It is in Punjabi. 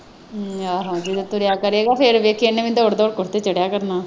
ਹਮ ਆਹੋ ਜਦੋਂ ਤੁਰਿਆ ਕਰੇਗਾ ਫਿਰ ਵੇਖੀ ਇਹਨੇ ਵੀ ਦੋੜ ਦੋੜ ਕੇ ਉੱਤੇ ਚੜ੍ਹਿਆ ਕਰਨਾ ਹੈ।